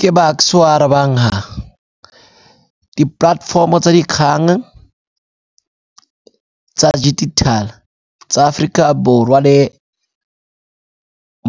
Ke Bucks-e o arabang ha, di-platform-o tsa dikgang tsa digital-e tsa Aforika Borwa le